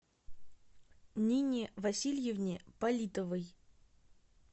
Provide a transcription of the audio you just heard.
нине васильевне политовой